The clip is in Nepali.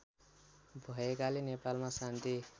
भएकाले नेपालमा शान्ति